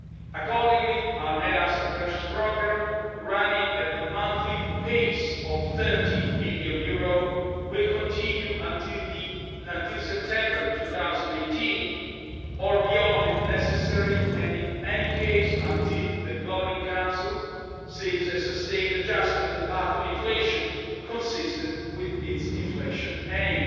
Accordingly, our net asset purchase programme, running at a monthly pace of EUR 30 billion, will continue until September 2018, or beyond, if necessary, and in any case until the Governing Council sees a sustained adjustment in the path of inflation consistent with its inflation aim.